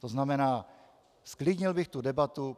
To znamená, zklidnil bych tu debatu.